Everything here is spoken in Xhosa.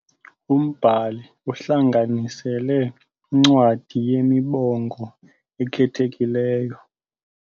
Umbhali uhlanganisele incwadi yemibongo ekhethekileyo.